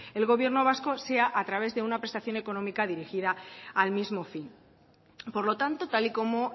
el gobierno vasco sea a través de una prestación económica dirigida al mismo fin por lo tanto tal y como